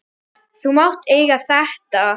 Þú mátt eiga þetta.